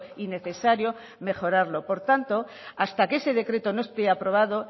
y necesario mejorarlo por tanto hasta que ese decreto no esté aprobado